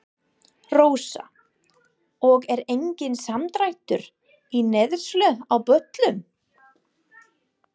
Rósa: Og er enginn samdráttur í neyslu á bollum?